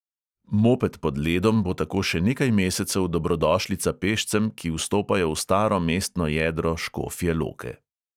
Moped pod ledom bo tako še nekaj mesecev dobrodošlica pešcem, ki vstopajo v staro mestno jedro škofje loke.